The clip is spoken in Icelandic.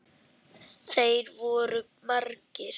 Þeir voru margir.